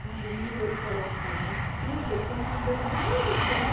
Sabe, o milho ele coloca uma espiga e tem um cabelo bonito, né?